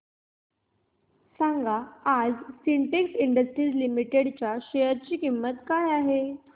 सांगा आज Syntex Industries Limited च्या शेअर ची किंमत काय आहे